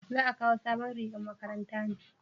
za a kawo sabon rigar makaranta ne?